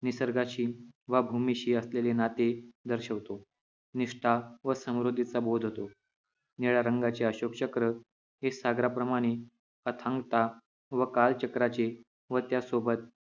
निसर्गाशी वा भूमीशी असलेले नाते दर्शवतो निष्ठा व समृद्धीचा बोध होतो निळ्या रंगाचे अशोक चक्र सागराप्रमाणे अथांगता व कालचक्राचे व त्यासोबत